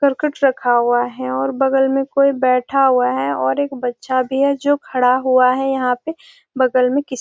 और कुछ रखा हुआ है और बगल में कोई बैठा हुआ है और एक बच्चा भी है जो खड़ा हुआ है यहाँ पे बगल में किसके --